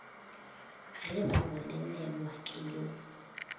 ge ba bolelelwa ke yo